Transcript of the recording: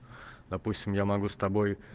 допустим я могу с тобой